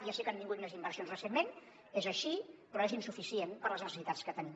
ja sé que han vingut més inversions recentment és així però és insuficient per a les necessitats que tenim